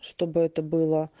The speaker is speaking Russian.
чтобы это было